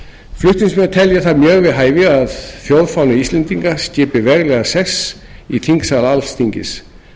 flutningsmenn telja það mjög við hæfi að þjóðfáni íslendinga skipi veglegan sess í þingsal alþingis